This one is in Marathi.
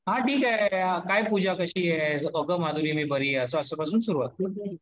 हा ठिक आहे, काय पुजा कशी आहे. अगं माधुरी मी बरी आहे. असं अश्यापासून सुरुवात करा